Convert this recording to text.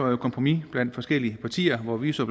jo et kompromis blandt forskellige partier hvor vi så